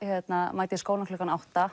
mæta í skólann klukkan átta